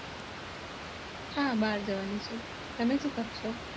હા બાર જવાનું છે